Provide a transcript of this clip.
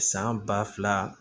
San ba fila